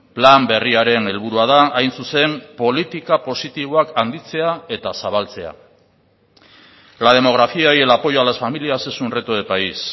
plan berriaren helburua da hain zuzen politika positiboak handitzea eta zabaltzea la demografía y el apoyo a las familias es un reto de país